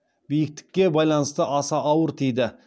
биіктікке байланысты аса ауыр тиді